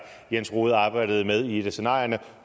jens rohde har arbejdet med i et af scenarierne